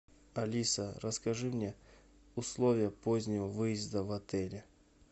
алиса расскажи мне условия позднего выезда в отеле